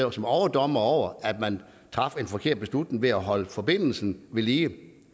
os som overdommer over at man traf en forkert beslutning ved at holde forbindelsen vedlige